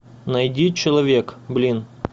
найди человек блин